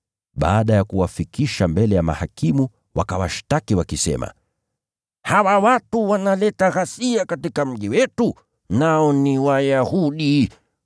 Baada ya kuwafikisha mbele ya mahakimu wakawashtaki wakisema, “Hawa watu wanaleta ghasia katika mji wetu, nao ni Wayahudi.